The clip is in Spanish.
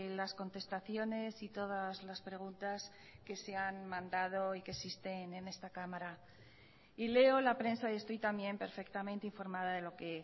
las contestaciones y todas las preguntas que se han mandado y que existen en esta cámara y leo la prensa y estoy también perfectamente informada de lo que